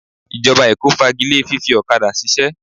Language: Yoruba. Ìjọba Èkó fagile fífi ọ̀kadà ṣiṣẹ́